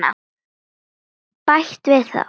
Bæta við það.